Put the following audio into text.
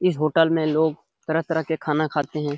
इस होटल में लोग तरह-तरह के खाना खाते हैं।